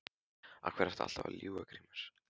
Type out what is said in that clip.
Af hverju ertu alltaf að ljúga Grímur?